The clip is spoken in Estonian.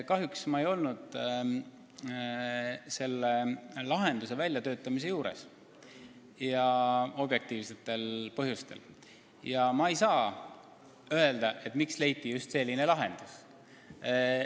Kahjuks ma ei olnud selle lahenduse väljatöötamise juures ja objektiivsetel põhjustel ma ei saa öelda, miks leiti just selline lahendus.